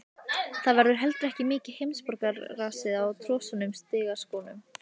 Það var heldur ekki mikið heimsborgarasnið á trosnuðum strigaskónum.